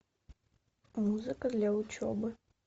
музыка для учебы